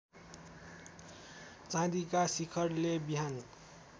चाँदिका शिखरले बिहान